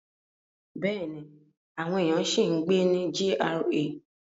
Bẹ́ẹ̀ni, àwọn èèyàn ṣì ń gbé inú GRA.